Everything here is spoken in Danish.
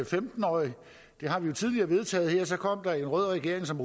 femten årige det har vi jo tidligere vedtaget her og så kom der en rød regering som